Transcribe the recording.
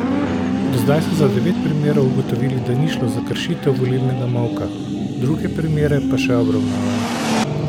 Do zdaj so za devet primerov ugotovili, da ni šlo za kršitev volilnega molka, druge primere pa še obravnavajo.